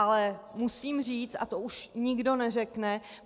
Ale musím říct - a to už nikdo neřekne.